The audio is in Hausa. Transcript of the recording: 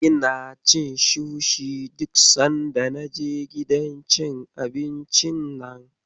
Ina ci sushi duk sanda na je gidan cin abincin nan.